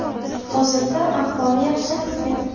Hozirda ahvoli yaxshilangan.